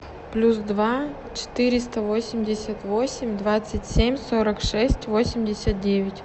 плюс два четыреста восемьдесят восемь двадцать семь сорок шесть восемьдесят девять